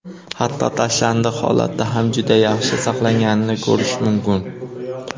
Hatto tashlandiq holatida ham juda yaxshi saqlanganini ko‘rish mumkin.